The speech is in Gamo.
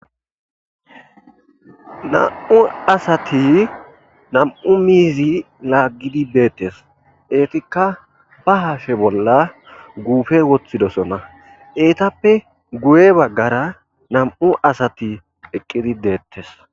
Nam'u asati nam'u miizi laagidi bettes ettika be hashshe bolla guppe woththidosona eetappe guye baggara nam'u asati eqqidi dettes.